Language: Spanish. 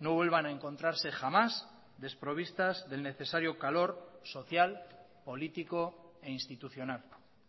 no vuelvan a encontrarse jamás desprovistas del necesario calor social político e institucional